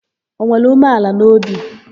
O nwere umeala n'obi?